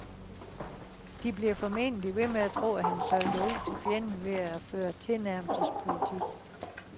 De bliver formentlig ved med at tro, at han solgte ud til fjenden ved at føre tilnærmelsespolitik.